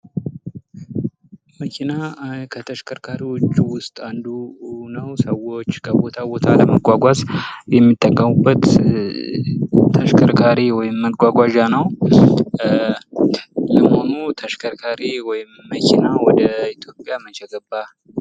መኪና ከተሸከርካሪዎች ውስጥ አንዱ ነው ። ሰዎች ከቦታ ቦታ ለመጓጓዝ የሚጠቀሙበት ተሽከርካሪ ወይም መጓጓዣ ነው ። ለመሆኑ ተሽከርካሪ ወይም መኪና ወደ ኢትዮጵያ መቼ ገባ ?